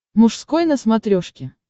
мужской на смотрешке